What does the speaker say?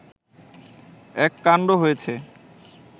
এক কাণ্ড হয়েছে